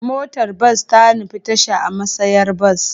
Motar bas ta nufi tasha a matsayar bas.